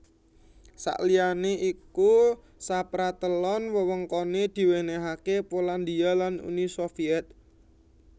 Saliyané iku sapratelon wewengkoné diwènèhaké Polandia lan Uni Sovyèt